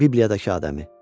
Bibliyadakı Adəmi.